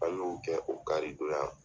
An y'o kɛ o kari don yan